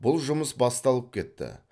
бұл жұмыс басталып кетті